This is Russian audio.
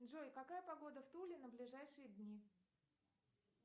джой какая погода в туле на ближайшие дни